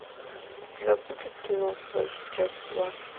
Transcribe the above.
у тебя будет кино флэш часть два